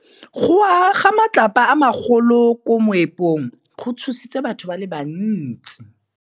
Go wa ga matlapa a magolo ko moepong go tshositse batho ba le bantsi.